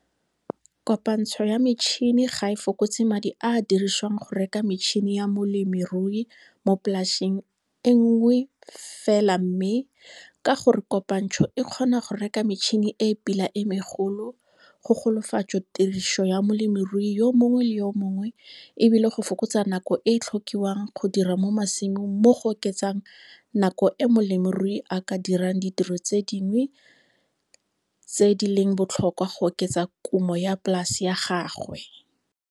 Kopantsho ya metšhene ga e fokotse madi a a dirisiwang go reka metšhene ya molemirui mo polaseng e lenngwe fela mme, ka gore kopantsho e kgona go reka metšhene e e pila e megolo, go golafatso tiriso ya molemirui yo mongwe le yo mongwe e bile go fokotsa nako e e tlhokiwang go dira mo masimong mo go oketsang nako e molemirui a ka dirang ditiro tse dingwe tse di leng botlhokwa go oketsa kumo ya polase ya gagwe.